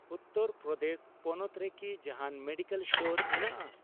ᱩᱛᱛᱟᱹᱨ ᱯᱨᱚᱫᱮᱥ ᱯᱚᱱᱚᱛ ᱨᱮᱠᱤ ᱡᱟᱦᱟᱱ ᱢᱮᱰᱤᱠᱮᱞ ᱥᱴᱳᱨ ᱢᱮᱱᱟᱜᱼᱟ ?